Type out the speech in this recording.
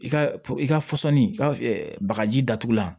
I ka i ka fɔsɔnni i ka bagaji datugula